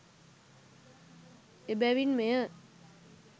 එබැවින් මෙය